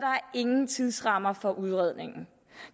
ingen tidsramme for udredningen